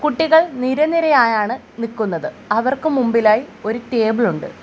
കുട്ടികൾ നിരനിരയായാണ് നിക്കുന്നത് അവർക്കു മുമ്പിലായി ഒരു ടേബിൾ ഉണ്ട്.